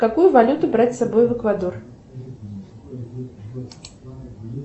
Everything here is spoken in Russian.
какую валюту брать с собой в эквадор